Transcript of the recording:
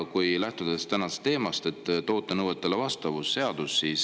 Aga lähtun tänasest teemast, toote nõuetele vastavuse seadusest.